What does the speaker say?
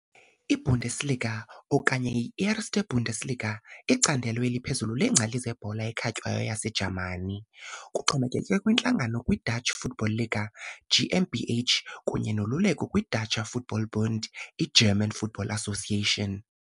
I -Bundesliga, okanye i-Erste Bundesliga, icandelo eliphezulu leengcali zebhola ekhatywayo yaseJamani. Kuxhomekeke kwintlangano kwi -Deutsche Fußball Liga GmbH kunye noluleko kwi -Deutscher Fußball-Bund, i-German football association.